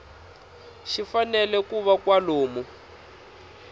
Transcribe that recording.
xi fanele ku va kwalomu